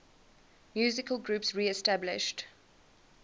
musical groups reestablished